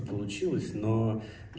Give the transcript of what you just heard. получилось но